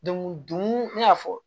n y'a fɔ